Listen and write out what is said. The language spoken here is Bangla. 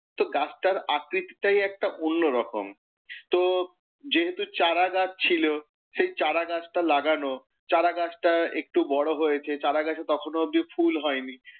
তো গাছটার আকৃতিটাই একটা অন্য রকম। তো যেহেতু চারা গাছ ছিলো, চারা গাছটা লাগানো, চারা গাছটা একটু বড় হয়েছে, চারা গাছে তখনও ফুল হয়নি।